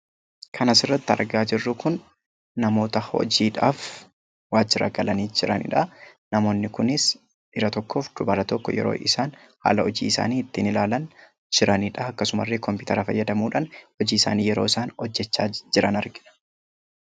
Kan nuti asirratti argaa jirru kun, namoota hojiidhaf wajjira galaa jiranidha. namoonni kunis dhiira tokkof, dubara tokko yeroo isaan haala hojiisaani ittin ilaala jiranidha. akkasumalle kompiteera fayyadamudhan, hojii isaani yeroosaan hojjecha jiran argina.